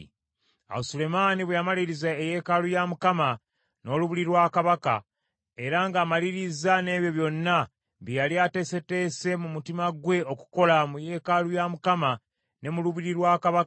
Awo Sulemaani bwe yamaliriza eyeekaalu ya Mukama , n’olubiri lwa kabaka, era ng’amalirizza n’ebyo byonna bye yali ateeseteese mu mutima gwe okukola mu yeekaalu ya Mukama ne mu lubiri lwa kabaka,